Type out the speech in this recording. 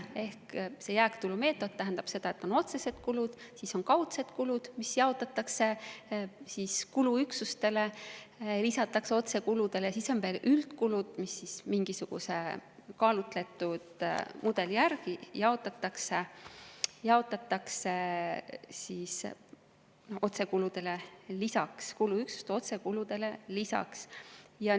Ehk see jääktulumeetod tähendab seda, et on otsesed kulud, siis on kaudsed kulud, mis jaotatakse kuluüksuste vahel ja lisatakse otsekuludele, ning siis on veel üldkulud, mis mingisuguse kaalutletud mudeli järgi jaotatakse kuluüksuste otsekuludele lisaks.